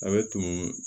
A bɛ tumu